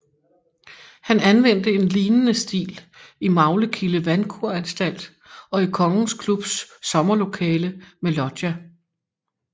Han anvendte en lignende stil i Maglekilde Vandkuranstalt og i Kongens Klubs sommerlokale med loggia